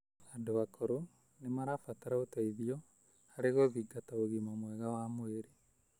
Andũ akũrũ nĩ marabatara ũteithio harĩ gũthingata ũgima mwega wa mwĩrĩ.